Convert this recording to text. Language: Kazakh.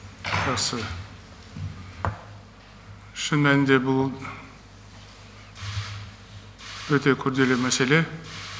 жақсы шын мәнінде бұл өте күрделі мәселе